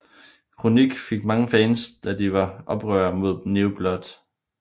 KroniK fik mange fans da de var oprørere mod New Blood